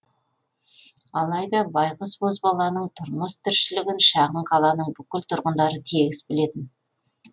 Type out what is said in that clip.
алайда байқұс бозбаланың тұрмыс тіршілігін шағын қаланың бүкіл тұрғындары тегіс білетін